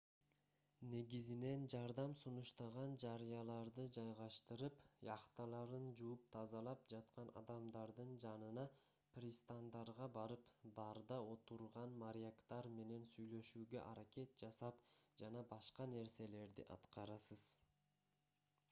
негизинен жардам сунуштаган жарыяларды жайгаштырып яхталарын жууп-тазалап жаткан адамдардын жанына пристандарга барып барда отурган моряктар менен сүйлөшүүгө аракет жасап жана башка нерселерди аткарасыз